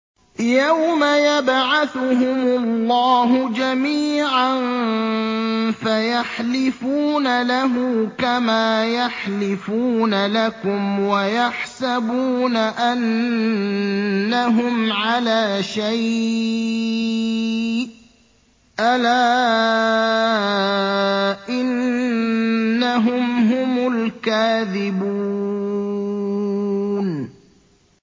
يَوْمَ يَبْعَثُهُمُ اللَّهُ جَمِيعًا فَيَحْلِفُونَ لَهُ كَمَا يَحْلِفُونَ لَكُمْ ۖ وَيَحْسَبُونَ أَنَّهُمْ عَلَىٰ شَيْءٍ ۚ أَلَا إِنَّهُمْ هُمُ الْكَاذِبُونَ